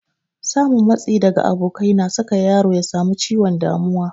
Samun matsi daga abokai na saka yaro ya samu ciwon damuwa